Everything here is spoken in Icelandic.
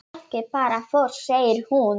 Fólkið bara fór segir hún.